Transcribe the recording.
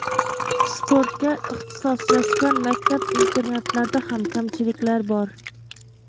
Sportga ixtisoslashgan maktab-internatlarda ham kamchiliklar bor.